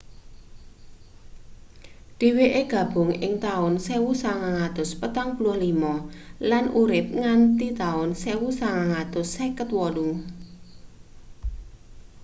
dheweke gabung ing taun 1945 lan urip nganti taun 1958